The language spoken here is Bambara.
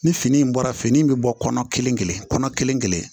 Ni fini in bɔra fini in bɛ bɔ kɔnɔ kelen kelen kɔnɔ kelen kelen kelen